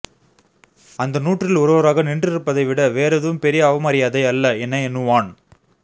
அந்த நூற்றில் ஒருவராக நின்றிருப்பதை விட வேறெதுவும் பெரிய அவமரியாதை அல்ல என எண்ணுவான்